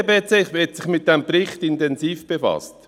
Die BDP hat sich intensiv mit diesem Bericht befasst.